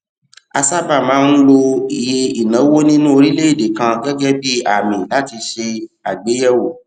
a sábà máa ń lo iye ìnáwó nínú orílèèdè kan gẹgẹ bí àmì láti ṣe àgbéyèwò